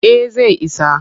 Eh zai isa.